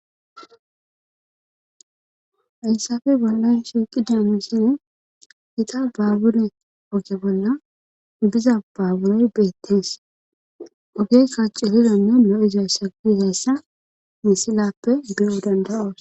aysafe bollan shiiqi dinussi hita baabure oge bolla biza baaburey beettees ogey kacu hidonne no7izaysa gizayssa misilappe bewu dandayoos